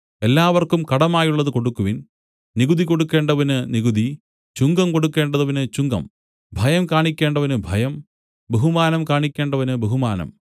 എല്ലാവർക്കും കടമായുള്ളത് കൊടുക്കുവിൻ നികുതി കൊടുക്കണ്ടവന് നികുതി ചുങ്കം കൊടുക്കണ്ടവന് ചുങ്കം ഭയം കാണിക്കേണ്ടവന് ഭയം ബഹുമാനം കാണിക്കേണ്ടവന് ബഹുമാനം